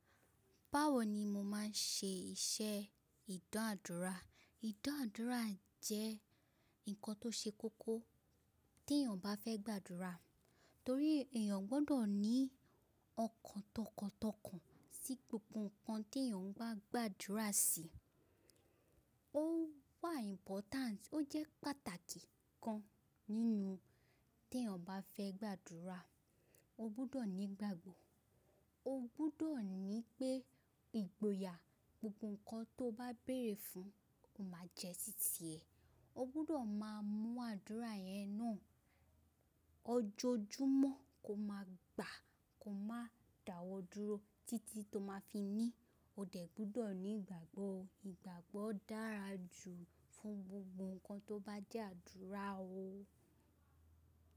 Báwo ni mo máa ń ṣe iṣẹ́ ìdanàádúrà? Ìdanàádúrà jẹ́ nǹkan tó ṣe kókó tí èèyàn bá fẹ́ gbàdúrà. Torí èèyàn gbọ́dọ̀ ní ọkàn tọkàntọkàn sí gbogbo nǹkan tí èèyàn bá gbàdúrà sí. Ó wà important, ó jẹ́ pàtàkì kan nínú tí èèyàn bá fẹ́ gbàdúrà, o gbọ́dọ̀ ní ìgbàgbọ́. O gbọ́dọ̀ ní pé ìgboyà gbogbo nǹkan tó bá béèrè fún máa jẹ́ títí ẹ̀. O gbọ́dọ̀ máa mú àdúrà yẹn náà ojoojúmọ́ ko máa gbà, ko máa dàwọ́ dúró títí tó máa fi ní o dẹ̀ gbọ́dọ̀ ní ìgbàgbọ́. Ìgbàgbọ́ dára jù fún gbogbo nǹkan tó bá jẹ́ àdúrà o.